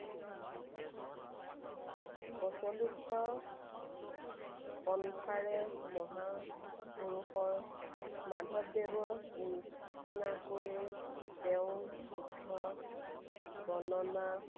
প্ৰচলিত পন্থাৰে মহাপুৰুষৰ মাধৱদেৱৰ নিচিনাকৈয়ে তেওঁ যুদ্ধ বৰ্ণনা